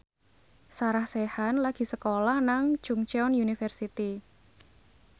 Sarah Sechan lagi sekolah nang Chungceong University